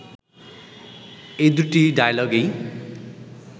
এ দুটি ডায়ালগেই